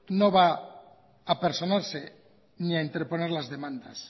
no va a personarse ni a interponer las demandas